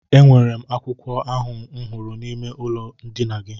E nwere m akwụkwọ ahụ m hụrụ n'ime ụlọ ndina gị.